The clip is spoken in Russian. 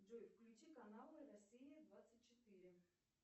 джой включи каналы россия двадцать четыре